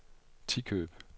Tikøb